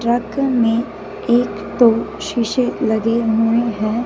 Truck में एक दो शीशे लगे हुए है।